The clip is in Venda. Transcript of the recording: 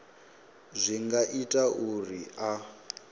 zwi nga ita uri a